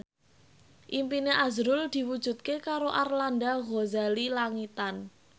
impine azrul diwujudke karo Arlanda Ghazali Langitan